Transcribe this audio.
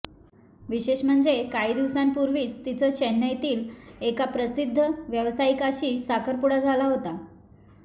विशेष म्हणजे काही दिवसांपूर्वीचं तिचं चेन्नईतील एका प्रसिद्ध व्यावसायिकाशी साखरपुडा झाला होता